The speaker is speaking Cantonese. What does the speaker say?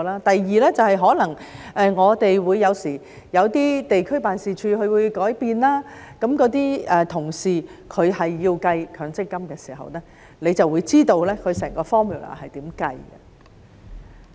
第二便是可能我們有時候有些地區辦事處有改變，那些同事要計算強積金的時候，你就會知道整個 formula 是如何計算。